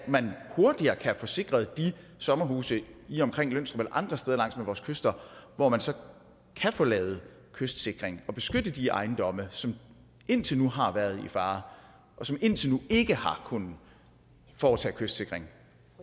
man hurtigere kan få sikret de sommerhuse i og omkring lønstrup andre steder langs med vores kyster hvor man så kan få lavet kystsikring og beskytte de ejendomme som indtil nu har været i fare og som indtil nu ikke har kunnet foretage kystsikring